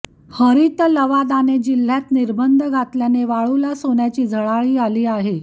हरित लवादाने जिल्ह्यात निर्बंध घातल्याने वाळूला सोन्याची झळाळी आली आहे